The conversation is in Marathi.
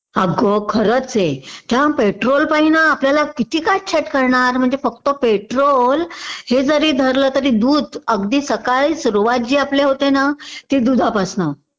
अगं खरंचे. त्या पेट्रोलपायीं ना आपल्याला किती काटछाट करणार म्हणजे फक्त पेट्रोल हे जरी धरलं तरी दूध अगदी सकाळी सुरुवात जी आपल्या होते ना ती दुधापासन